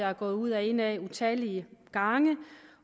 er gået ud og ind ad utallige gange